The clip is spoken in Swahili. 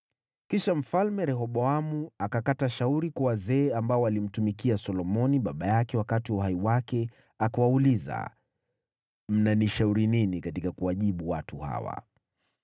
Kisha Mfalme Rehoboamu akataka shauri kwa wazee ambao walimtumikia Solomoni baba yake wakati wa uhai wake akawauliza, “Mnanishauri nini katika kuwajibu watu hawa?”